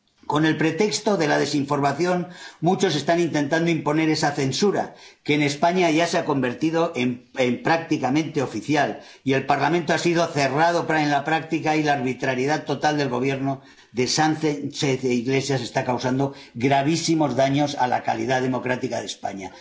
Con el pretexto de la desinformación, muchos están intentando imponer esa censura que, en España, ya se ha convertido en prácticamente oficial, y el Parlamento ha sido cerrado en la práctica, y la arbitrariedad total del Gobierno de Sánchez y de Iglesias está causando gravísimos daños a la calidad democrática de España.